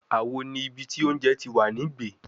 Awo ni ibi ti ounje ti wa ni gbe